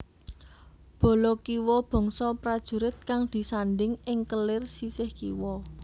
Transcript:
Bala kiwa bangsa prajurit kang disandhing ing kelir sisih kiwa